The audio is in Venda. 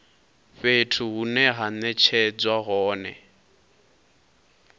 fhethu hune ha netshedzwa hone